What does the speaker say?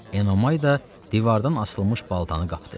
Enomay da divardan asılmış baltanı qapdı.